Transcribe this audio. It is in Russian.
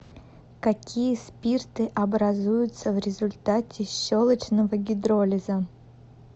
какие спирты образуются в результате щелочного гидролиза